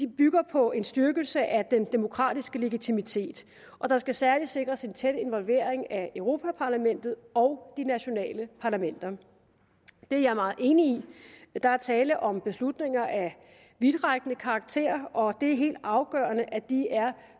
bygger på en styrkelse af den demokratiske legitimitet og der skal særligt sikres en tæt involvering af europa parlamentet og de nationale parlamenter det er jeg meget enig i der er tale om beslutninger af vidtrækkende karakter og det er helt afgørende at de er